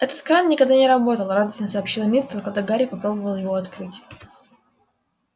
этот кран никогда не работал радостно сообщила миртл когда гарри попробовал его открыть